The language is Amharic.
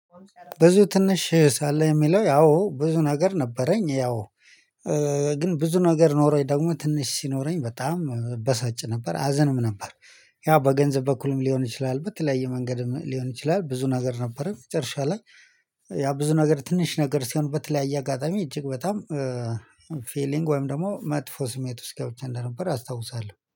ብዙ ትንሽ ሳለ የሚለው አወ ብዙ ነገር ነበረኝ ያው ግን ብዙ ነገር ኖሮኝ ደግሞ ትንሽ ሲኖረኝ በጣም እበሳጭ ነበር አዝአም ነበር። ያው በገንዘብ በኩልም ሊሆን ይችላል በተለያየ መንገድም ሊሆን ይችላል። ብዙ ነገር ነበረ መጨረሻ ላይ ያ ብዙ ነገር ትንሽ ነገር ሲሆን በተለያየ አጋጣሚ እጅግ በጣም። ፊሊንግ ወይም ደግሞ መጥፎ ስሜት ውስጥ ገብቼ እንደነበር አስታውሳለሁ